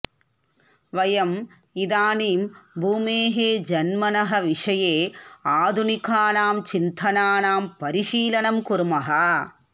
वयम् इदानीं भूमेः जन्मनः विषये आधुनिकानां चिन्तनानां परिशीलनं कुर्मः